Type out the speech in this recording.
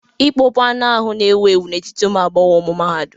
Ịkpọpu anụ ahụ n'ewu ewu n'etiti ụmụ agbọghọ mahadum